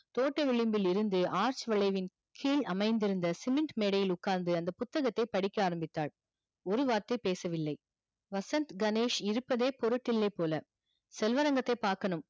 தோட்ட விளிம்பிலிருந்து arch வளைவின் கீழ் அமைந்திருந்த சிமெண்ட் மேடையில் உட்கார்ந்து அந்த புத்தகத்தை படிக்க ஆரம்பித்தாள் ஒரு வார்த்தை பேசவில்லை வசந்த், கணேஷ் இருப்பதே பொருட்டு இல்லை போல செல்வரங்கத்தை பார்க்கணும்